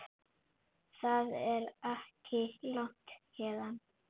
Það er ekki langt héðan.